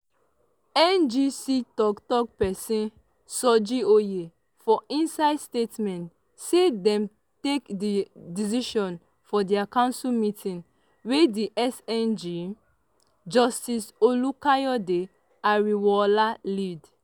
njc tok-tok pesin soji oye for inside statement say dem take di decision for dia council meeting wey di cjn justice olukayode ariwoola lead.